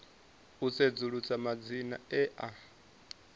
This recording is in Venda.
u sedzulusa madzina e a